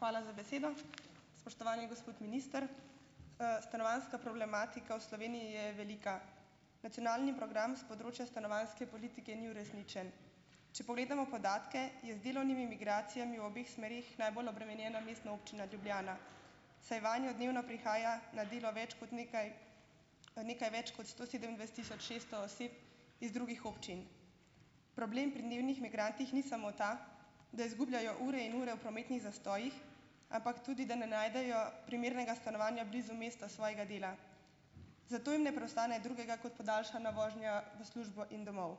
Hvala za besedo. Spoštovani gospod minister, stanovanjska problematika v Sloveniji je velika. Nacionalni program s področja stanovanjske politike ni uresničen. Če pogledamo podatke, je z delovnimi migracijami v obeh smereh najbolj obremenjena Mestna občina Ljubljana, saj vanjo dnevno prihaja na delo več kot nekaj nekaj več kot sto sedemindvajset tisoč šeststo oseb iz drugih občin. Problem pri dnevnih migrantih ni samo ta, da izgubljajo ure in ure v prometnih zastojih, ampak tudi da ne najdejo primernega stanovanja blizu mesta svojega dela. Zato jim ne preostane drugega kot podaljšana vožnja v službo in domov.